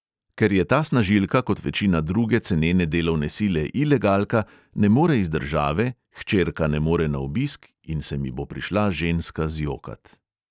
Ker je ta snažilka kot večina druge cenene delovne sile ilegalka, ne more iz države, hčerka ne more na obisk, in se mi bo prišla ženska zjokat.